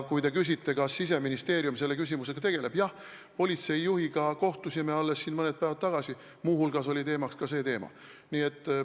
Kui te küsite, kas Siseministeerium selle küsimusega tegeleb, siis jah, politseijuhiga kohtusime alles mõni päev tagasi, muu hulgas oli kõne all see teema.